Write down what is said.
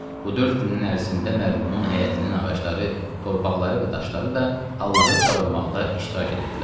Bu dörd günün ərzində mərhumun həyətinin ağacları, torpaqları və daşları da Allahı çağırmaqda iştirak edirdilər.